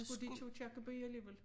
Skulle de til Aakirkeby alligevel